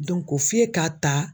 ko f'e k'a ta.